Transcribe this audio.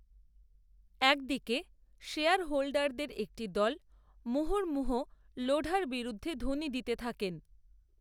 এক দিকে শেয়ারহোল্ডারদের একটি দল, মুহুর্মুহু, লোঢার বিরুদ্ধে ধ্বনি দিতে থাকেন